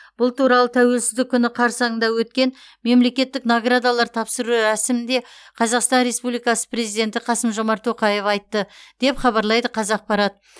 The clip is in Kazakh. бұл туралы тәуелсіздік күні қарсаңында өткен мемлекеттік наградалар тапсыру рәсімінде қазақстан республикасы президенті қасым жомарт тоқаев айтты деп хабарлайды қазақпарат